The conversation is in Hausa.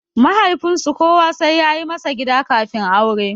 Mahaifinsu kowa sai yayi masa gida kafin aure.